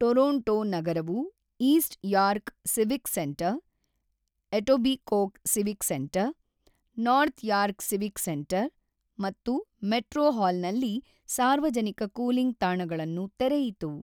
Toronto ನಗರವು East York Civic Centre, Etobicoke Civic Centre, North York Civic Centre ಮತ್ತು metro ಹಾಲ್‌ನಲ್ಲಿ ಸಾರ್ವಜನಿಕ cooling ತಾಣಗಳನ್ನು ತೆರೆಯಿತು.